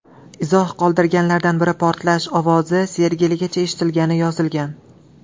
Izoh qoldirganlardan biri portlash ovozi Sergeligacha eshitilganini yozgan.